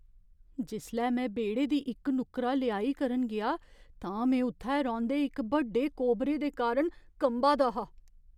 जिसलै में बेह्ड़े दी इक नुक्करा लेआई करन गेआ, तां में उत्थै रौंह्दे इक बड्डे कोबरे दे कारण कंबा दा हा।